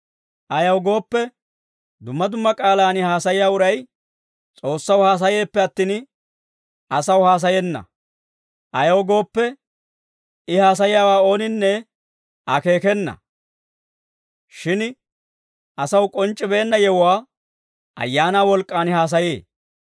Ayaw gooppe, dumma dumma k'aalaan haasayiyaa uray S'oossaw haasayeeppe attin, asaw haasayenna. Ayaw gooppe, I haasayiyaawaa ooninne akeekena. Shin asaw k'onc'c'ibeenna yewuwaa Ayaanaa wolk'k'aan haasayee.